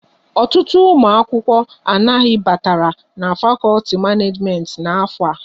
Ọtụtụ ụmụ akwụkwọ anaghị batara n'fakolti Maneejimenti n'afọ a